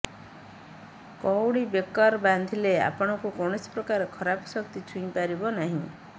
କଉଡ଼ି ବେକର୍ ବାନ୍ଧିଲେ ଆପଣଙ୍କୁ କୌଣସି ପ୍ରକାର ଖରାପ ଶକ୍ତି ଛୁଇଁ ପାରିବନହିଁ